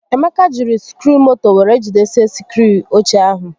Emeka jiri sikruumoto were jidesie sikruu oche ahụ